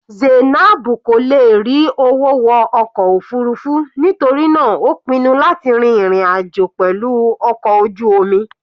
Zainab kò lè rí owó wọ ọkọ̀ òfurufú nítorí náà ó pinnu láti rin ìrìn àjò pẹ̀lú ọkọ̀ ojú omi.